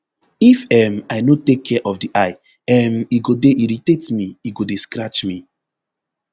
if um i no take care of di eye um e go dey irritate me e go dey scratch me